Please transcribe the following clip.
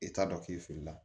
I t'a dɔn k'i filila